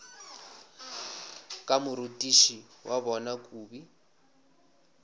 ka morutiši wa bona kobi